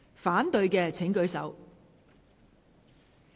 反對的請舉手。